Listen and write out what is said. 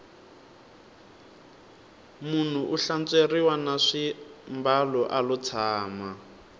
munhu u hlantsweriwa na swimbalo alo tshama